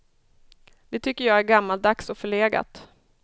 Det tycker jag är gammaldags och förlegat.